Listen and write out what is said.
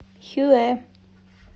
хюэ